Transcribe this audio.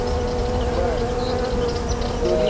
बरं! दोन्ही?